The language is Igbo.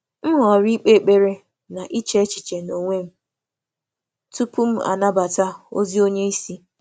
M họrọ̀ ị̀kpe ekpere na iche echiche n’onwe m tupu m anabata ozi onye onye isi.